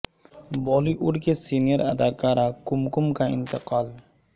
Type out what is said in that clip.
بالی would کی senior اداکارہ کم کم کا انتقال